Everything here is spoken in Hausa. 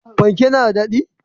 Fanke na da dadi?